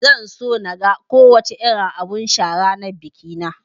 Zan so naga ko wace irin abun sha a ranar bikina